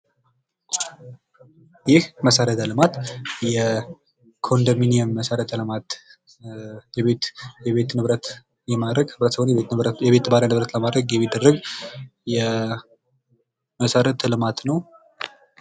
ይህ መሰረተ ልማት የኮንዶሚኒየም መሰረተ ልማት የቤት ንብረት የማድረግ የቤት ባለንብረት ለማድረግ የሚደረግ መሰረተ ልማት ነው።